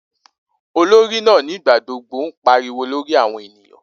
Olori naa nigbagbogbo n pariwo lori awọn eniyan.